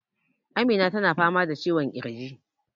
Amina ta na fama da ciwon ƙirji